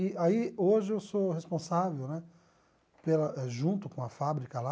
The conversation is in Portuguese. E aí hoje eu sou responsável, né, pela junto com a fábrica lá,